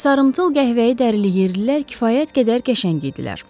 Sarımtıl qəhvəyi dərili yerlilər kifayət qədər qəşəng idilər.